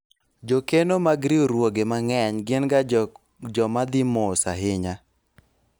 jokeno mag riwruoge mang'eny gin ga joma dhi mos ahinya